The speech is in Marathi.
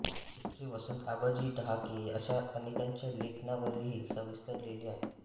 चित्रे वसंत आबाजी डहाके अशा अनेकांच्या लेखनावरही सविस्तर लिहिले आहे